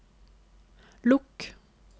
lukk